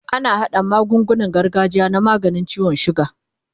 ana haɗa magungunan gargajiya na maganin ciwon sugar